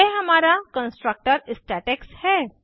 यह हमारा कंस्ट्रक्टर स्टेटेक्स है